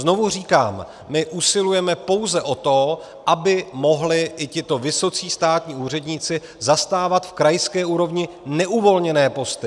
Znovu říkám, my usilujeme pouze o to, aby mohli i tito vysocí státní úředníci zastávat v krajské úrovni neuvolněné posty.